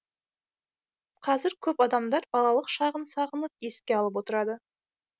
қазір көп адамдар балалық шағын сағынып еске алып отырады